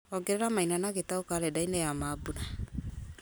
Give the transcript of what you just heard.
ongerera maina na gĩtau karenda-inĩ ya mambura